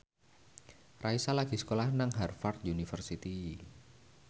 Raisa lagi sekolah nang Harvard university